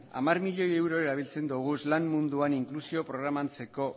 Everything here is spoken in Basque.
hamar milioi euro erabiltzen ditugu lan munduan inklusio programarentzako